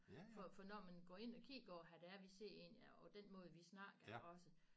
For for når man går ind og kigger på hvad det er vi siger egentlig og den måde vi snakker også